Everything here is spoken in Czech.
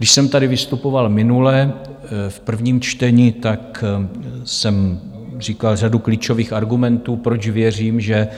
Když jsem tady vystupoval minule v prvním čtení, tak jsem říkal řadu klíčových argumentů, proč věřím, že